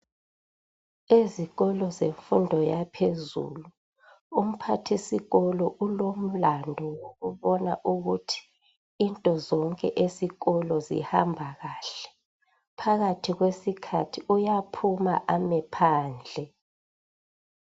Ezikolo zabemfundo yaphezulu umphathisikolo ulomlando wokubona ukuthi into zonke zesikolo zihamba kahle. Phakathi kwesikhathi uyaphuma ame phandle.